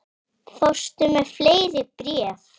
Fórstu með fleiri bréf?